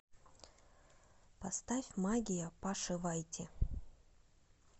поставь магия паши вайти